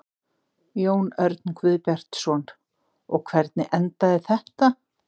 Jón Örn Guðbjartsson: Og hvernig endaði þetta?